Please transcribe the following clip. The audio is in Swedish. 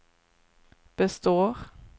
består